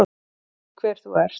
Veit hver þú ert.